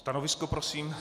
Stanovisko prosím?